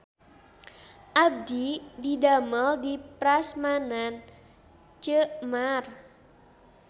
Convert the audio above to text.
Abdi didamel di Prasmanan Ceu Mar